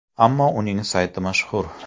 Ammo uning sayti mashhur.